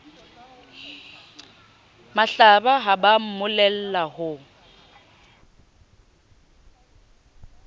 mahlaba ha ba mmolella ho